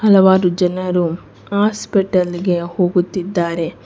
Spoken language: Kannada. ಹಲವಾರು ಜನರು ಹಾಸ್ಪಿಟಲ್ ಗೆ ಹೋಗುತ್ತಿದ್ದಾರೆ.